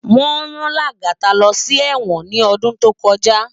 Wón rán Lagata lò si èwòn ni òdún tókòjá